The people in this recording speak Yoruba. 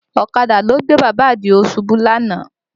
Ọ̀kadà ló gbé Bàbá Àdìó ṣubú lánàá